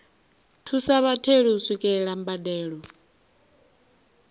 thusa vhatheli u swikelela mbadelo